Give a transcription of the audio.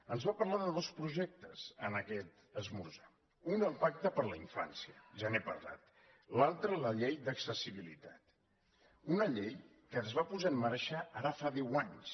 ens va parlar de dos projectes en aquest esmorzar un el pacte per la infància ja n’he parlat l’altre la llei d’accessibilitat una llei que es va posar en marxa ara fa deu anys